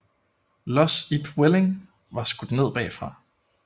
Lods Ib Welling var skudt ned bagfra